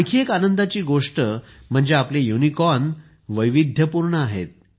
आणखी एक आनंदाची गोष्ट म्हणजे आपले युनिकॉर्न वैविध्यपूर्ण आहेत